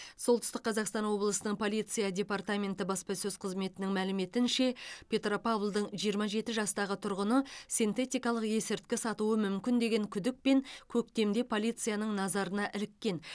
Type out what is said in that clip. солтүстік қазақстан облысы полиция департаменті баспасөз қызметінің мәліметінше петропавлдың жиырма жеті жастағы тұрғыны синтетикалық есірткі сатуы мүмкін деген күдікпен көктемде полицияның назарына іліккен